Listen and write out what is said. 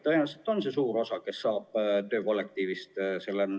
Tõenäoliselt moodustavad need, kes nakatuvad töökollektiivis, suure osa.